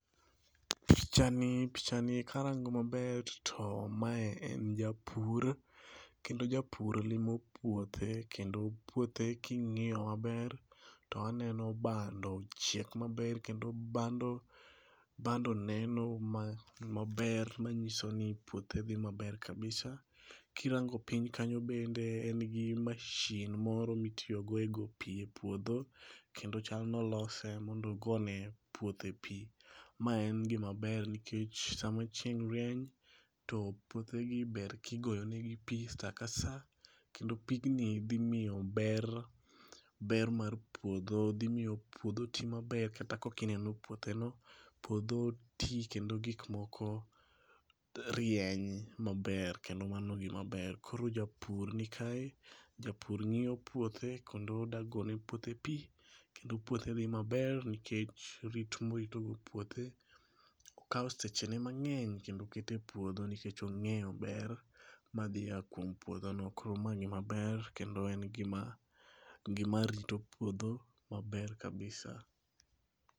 Pichani, pichani karango maber to mae en japur kendo japur limo puothe kendo puothe king'iyo maber to aneno bando ochiek maber kendo bando ,bando neno maber, manyisoni puothe dhi maber kabisa. Kirango pinhy kanyo bende en gi mashin moro mitiyo go e go pii e puodho, kendo chal ni olose mondo ogone puothe pii. Ma en gima ber nikech sama chieng' rieny to puothe gi ber kigoyo negi pii saa ka saa kendo pigni dhi miyo ber, ber mar puodho, dhi miyo puodho tii maber kata kaka ineno puotheno. Puodho tii kendo gik moko rieny maber kendo mano gimaber .Koro japur ni kae, japur ng'iyo puothe kendo odwa gone puothe pii kendo puothe dhi maber nikech rit morito go puothe. Okao sechene mang'eny kendo oketo e puothe nikech ongeyo ber madhi ya kuom puodho no koro ma nik maber kendo en gima, gima rito puodho maber kabisa